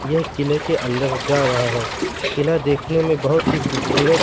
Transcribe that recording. यह किले के अंदर जा रहा है किला देखने में बहोत ही खूबसूरत--